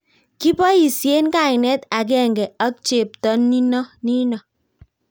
Kiboisien kainet agenge ak chepto nino